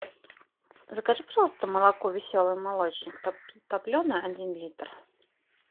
закажи пожалуйста молоко веселый молочник топленое один литр